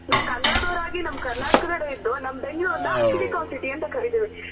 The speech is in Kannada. ನಾವ್ ಕನ್ನಡ ದವ್ರಾಗಿ ನಮ್ ಕರ್ನಾಟಕದಲ್ಲಿದ್ದು ನಮ್ ಬೆಂಗಳೂರ್ ನ Silicon city ಅಂತ ಕರಿತಿವಿ